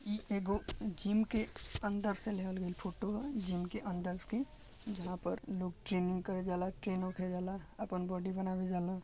इ एगो जिम के अंदर से लेवल गइल फोटो ह जिम के अंदर के जहाँ पर लोग ट्रेनिंग करे जाला ट्रेन होके जाला अपन बॉडी बनावे जाला।